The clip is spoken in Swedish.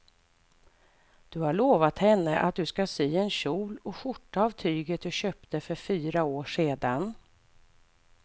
Du har lovat henne att du ska sy en kjol och skjorta av tyget du köpte för fyra år sedan.